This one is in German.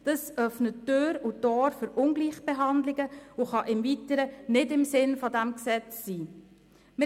Das öffnet Tür und Tor für Ungleichbehandlungen und kann nicht im Sinn des Gesetzes sein.